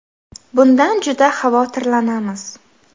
Bundan juda xavotirlanamiz.